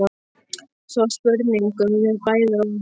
Svo sprungum við bæði, og ég sagði